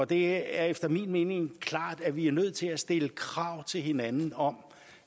det er efter min mening klart at vi er nødt til at stille krav til hinanden om